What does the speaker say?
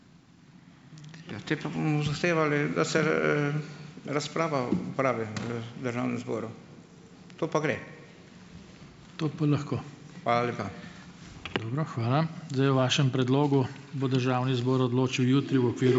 Ja, te pa bomo zahtevali, da se razprava opravi v Državnem zboru. To pa gre.